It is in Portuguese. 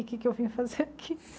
O que que eu vim fazer aqui?